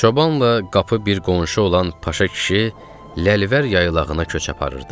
Çobanla qapı bir qonşu olan Paşa kişi Lələvər yaylağına köç aparırdı.